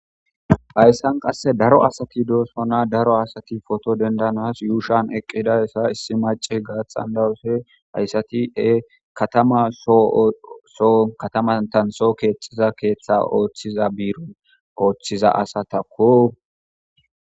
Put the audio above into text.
Hayssan qasse daro asati doosona daro asati pooto denddanaas yuushon eqidayssa issi macasika xana7ause haysati qasseka katama soho kataman soho keththa kexiza ooso biiron oothiza asatako.